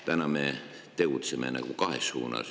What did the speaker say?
Täna me tegutseme justkui kahes suunas.